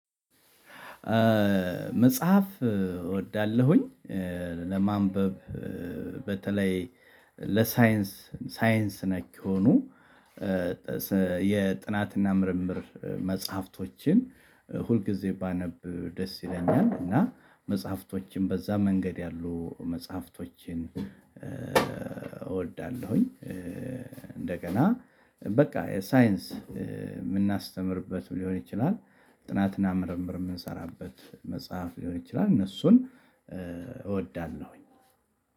መጽሐፍ እወዳለሁኝ ለማንበብ በተለይ ለሳይንስ ሳይንስ ነክ የሆኑ። የጥናትና ምርምር መጽሐፍቶችን ሁልጊዜ ባነብ ደስ ይለኛል። እና መጽሐፍቶችን በዛ መንገድ ያሉ መጽሐፍቶችን እወዳለሁኝ። እንደገና በቃ ሳይንስ የምናስተምርበት ሊሆን ይችላል። ጥናትና ምርምር የምንሰራበት መጽሐፍ ሊሆን ይችላል። እነሱን እወዳለሁኝ።